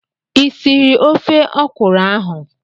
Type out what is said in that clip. I sịrị ofe ọkwụrụ ahụ?